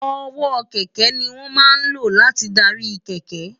ọwọ́ kẹ̀kẹ́ ni wọ́n máa ń lò láti darí kẹ̀kẹ́